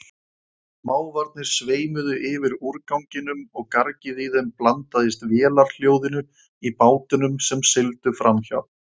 Mávarnir sveimuðu yfir úrganginum og gargið í þeim blandaðist vélarhljóðinu í bátunum sem sigldu framhjá.